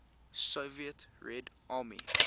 soviet red army